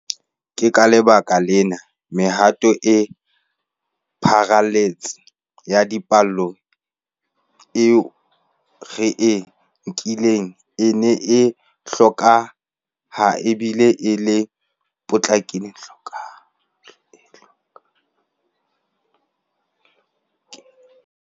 Ke ka lebaka lena mehato e pharaletseng ya diphallelo eo re e nkileng e neng e hlokeha e bile e le e potlakileng.